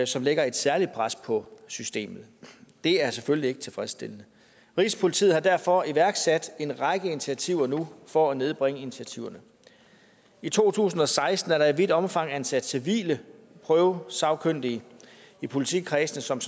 som lægger et særligt pres på systemet det er selvfølgelig ikke tilfredsstillende rigspolitiet har derfor iværksat en række initiativer nu for at nedbringe ventetiderne i to tusind og seksten er der i vidt omfang ansat civile prøvesagkyndige i politikredsene som